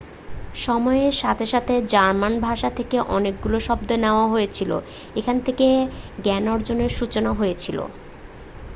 সময়ের সাথে সাথে জার্মান ভাষা থেকে অনেকগুলি শব্দ নেওয়া হয়েছিল এখান থেকে জ্ঞানার্জনের সূচনা হয়েছিল